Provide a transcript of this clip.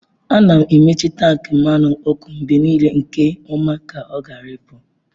A na-emechi tankị mmanụ ọkụ mgbe niile nke ọma ka ọ ghara ịpụ.